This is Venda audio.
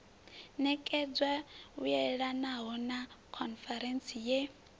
ṋekedzwa vhuyelanaho na khonferentsi ye